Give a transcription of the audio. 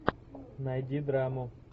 найди драму